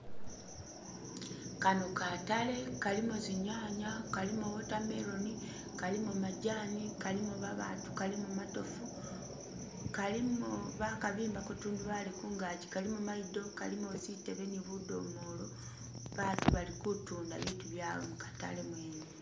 Kano katale kalimo zinyanya, kalimo watermelon, kalimo majani, kalimo babaatu, kalimo matoofu, kalimo bakabimbako tundubali kungaji, kalimo mayido, kalimo zitebe ni budomolo, batu bali kutunda bitu byawe mu katale mwene.